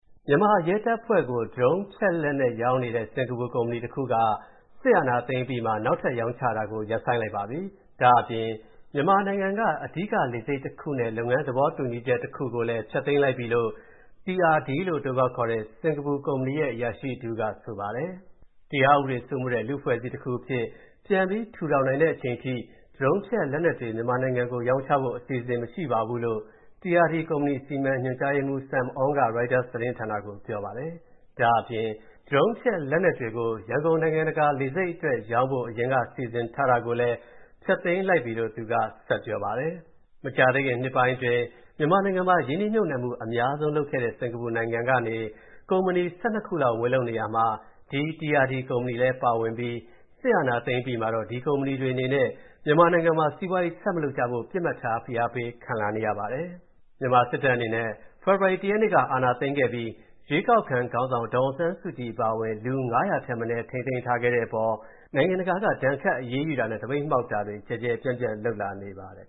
မြန်မာရဲတပ်ဖွဲ့ကို Drone ဖျက်လက်နက် ရောင်းနေတဲ့ စင်္ကာပူကုမ္ပဏီတစ်ခုက စစ်အာဏာသိမ်းအပြီးမှာ နောက်ထပ်ရောင်းချတာကို ရပ်ဆိုင်းလိုက်ပါပြီ။ ဒါ့အပြင် မြန်မာနိုင်ငံက အဓိကလေဆိပ်နဲ့ လုပ်ငန်းသဘောတူညီချက်တစ်ခုကိုလည်း ဖျက်သိမ်းလိုက်ပြီလို့ TRD လို့အတိုခေါက်ခေါ်တဲ့ စင်္ကာပူကုမ္ပဏီရဲ့ အရာရှိတစ်ဦးကဆိုပါတယ်။ "တရားဥပဒေစိုးမိုးတဲ့ လူ့အဖွဲ့အစည်းတစ်အခုအဖြစ် ပြန်ပြီး ထူထောင်နိုင်တဲ့အချိန်ထိ Drone ဖျက်လက်နက်တွေ မြန်မာနိုင်ငံကိုရောင်းဖို့ အစီအစဉ်မရှိပါဘူး" လို့ TRD ကုမ္ပဏီ စီမံရေးညွှန်ကြားရေးမူး Sam Ong က ရိုက်တာစ်သတင်းဌာနကို ပြောပါတယ်"။ ဒါ့အပြင် ရန်ကုန်နိုင်ငံတကာလေဆိပ်အတွက် Drone ဖျက်လက်နက်တွေရောင်းဖို့ အရင်က စီစဉ်ထားတာကိုလည်း ဖျက်သိမ်းလိုက်ပြီလို့ သူက ပြောပါတယ်။ မကြာသေးခင်နှစ်တွေအတွင်း မြန်မာနိုင်ငံမှာ ရင်းနှီးမြုပ်နှံမူအများဆုံးလုပ်ခဲ့တဲ့ စင်္ကာပူနိုင်ငံကနေ ကုမ္ပဏီ ၁၂ ခုလောက် ဝင်လုပ်နေရာမှာ ဒီ TRD ကုမ္ပဏီလည်းပါဝင်ပြီး စစ်အာဏာသိမ်းအပြီးမှာတော့ ဒီကုမ္ပဏီတွေအနေနဲ့ မြန်မာနိုင်ငံမှာ စီးပွားရေးဆက်မလုပ်ကြဖို့ ပစ်မှတ်ထားဖိအားပေးခံလာနေရတာပါ။ မြန်မာစစ်တပ်အနေနဲ့ ဖေဖော်ဝါရီ ၁ ရက်နေ့က အာဏာသိမ်းခဲ့ပြီး ရွေးကောက်ခံခေါင်းဆောင် ဒေါ်အောင်ဆန်းစုကြည်အပါအဝင် လူ ၅၀၀ ထက်မနည်း ထိန်းသိမ်းထားတဲ့အပေါ် နိုင်ငံတကာက ဒဏ်ခတ်အရေးယူတာ၊ သပိတ်မှောက်မူတွေ ကျယ်ကျယ်ပြန့််ပြန့်လုပ်လာနေပါတယ်